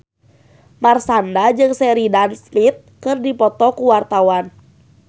Marshanda jeung Sheridan Smith keur dipoto ku wartawan